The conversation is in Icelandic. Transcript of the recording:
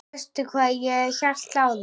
Veistu hvað ég hélt áðan?